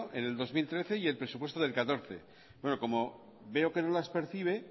en el dos mil trece y el presupuesto del dos mil catorce bueno como veo que no las percibe